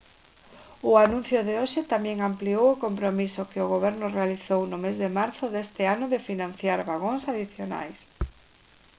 o anuncio de hoxe tamén ampliou o compromiso que o goberno realizou no mes de marzo deste ano de financiar vagóns adicionais